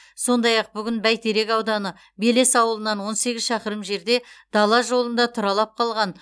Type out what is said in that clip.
сондай ақ бүгін бәйтерек ауданы белес ауылынан он сегіз шақырым жерде дала жолында тұралап қалған